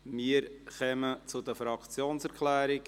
Wir kommen zu den Fraktionserklärungen.